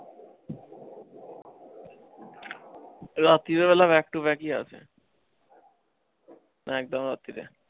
রাত্রিবেলা ও back to back ই আসে একদম রাত্রিরে।